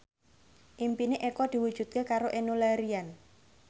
impine Eko diwujudke karo Enno Lerian